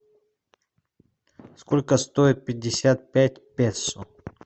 сколько стоит пятьдесят пять песо